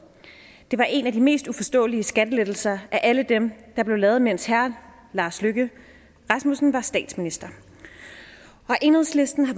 det var en af de mest uforståelige skattelettelser af alle dem der blev lavet mens herre lars løkke rasmussen var statsminister enhedslisten har